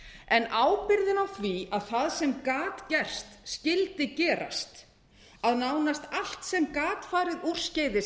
en ábyrgðin á því að það sem gat gerst skyldi gerast að nánast allt sem gat farið úrskeiðis